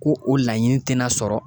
Ko o laɲini te na sɔrɔ